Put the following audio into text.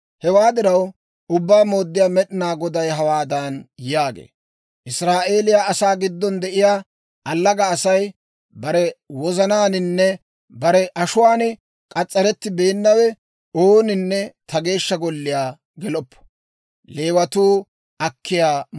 « ‹Hewaa diraw, Ubbaa Mooddiyaa Med'inaa Goday hawaadan yaagee; «Israa'eeliyaa asaa giddon de'iyaa allaga asay, bare wozanaaninne bare ashuwaan k'as's'arettibeennawe, ooninne ta Geeshsha Golliyaa geloppo.